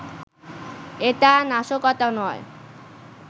এটা নাশকতা নয়